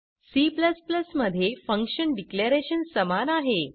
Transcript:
C मध्ये function declaration समान आहे